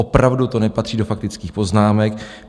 Opravdu to nepatří do faktických poznámek.